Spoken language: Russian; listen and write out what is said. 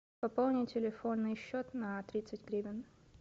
пополни телефонный счет на тридцать гривен